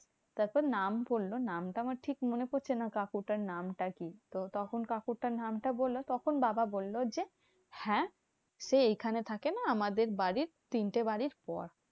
তারপর নাম বললো। নামটা আমার ঠিক মনে পড়ছে না, কাকুটার নামটা কি? তো তখন কাকুটার নামটা বলে, তখন বাবা বললো যে, হ্যাঁ সে এইখানে থাকে না। আমাদের বাড়ির তিনটে বাড়ির পর।